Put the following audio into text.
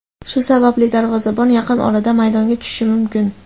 Shu sababli darvozabon yaqin orada maydonga tushishi mumkin.